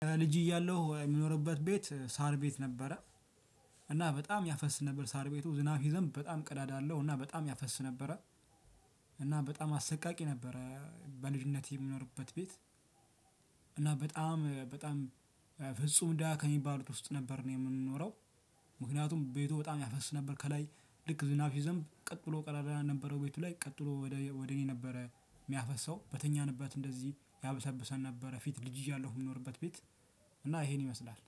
ልጅ እያለሁ የምኖርበት ቤት ሳር ቤት ነበረ። እና በጣም ያፈስ ነበር ሳር ቤቱ ዝናብ ሲዘንብ በጣም ቀዳዳ አለው እና በጣም ያፈስ ነበረ። እና በጣም አሰቃቂ ነበረ። በልጅነት የምኖርበት ቤት። እና በጣም በጣም ፍጹም ደሃ ከሚባሉት ውስጥ ነበር የምንኖረው። ምክንያቱም ቤቱ በጣም ያፈስ ነበር ከላይ ልክ ዝናብ ሲዘንብ ቀጥ ብሎ ቀዳዳ ነበረው ቤቱ ላይ ቀጥ ብሎ ወደ ወደ እኔ ነበረ የሚያፈሰው በተኛንበት እንደዚህ ያበሰብሰን ነበረ። ፊት ልጅ እያለሁ የምኖርበት ቤት እና ይሄን ይመስላል